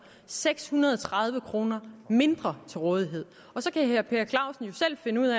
seks hundrede og tredive kroner mindre til rådighed så kan herre per clausen jo selv finde ud